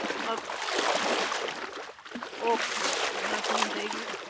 અ okay okay હા સમજઇ ગ્યુ.